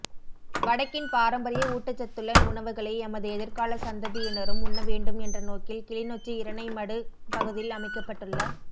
வடக்கின் பாரம்பரிய ஊட்டச்சத்துள்ள உணவுகளை எமது எதிர்கால சந்ததியினரும் உண்ணவேண்டும் என்ற நோக்கில் கிளிநொச்சி இரணைமடு பகுதியில் அமைக்கப்பட்டுள்ள